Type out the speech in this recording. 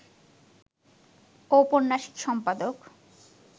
ঔপন্যাসিক, সম্পাদক